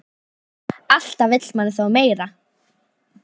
Alltaf vill maður þó meira.